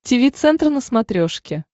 тиви центр на смотрешке